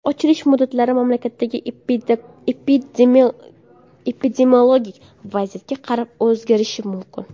Ochilish muddatlari mamlakatdagi epidemiologik vaziyatga qarab o‘zgarishi mumkin.